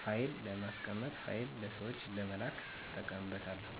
ፋይል ለማስቀመጥ ፋይል ለሠወች ለመላክ እጠቀምበታለሁ።